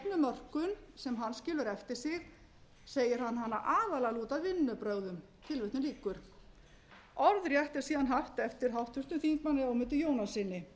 stefnumörkun sem hann skilur eftir sig segir hann hana aðallega lúta að vinnubrögðum orðrétt er síðan haft eftir háttvirtum þingmanni ögmundi jónassyni